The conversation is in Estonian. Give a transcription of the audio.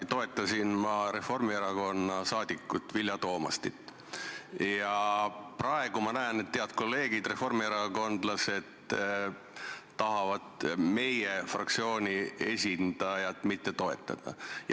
Ma toetasin Reformierakonna liiget Vilja Toomastit ja praegu ma näen, et head kolleegid reformierakondlased tahavad meie fraktsiooni esindajat mitte toetada.